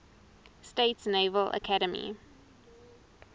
states naval academy